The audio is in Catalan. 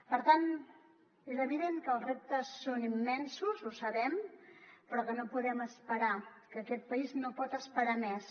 per tant és evident que els reptes són immensos ho sabem però no podem esperar aquest país no pot esperar més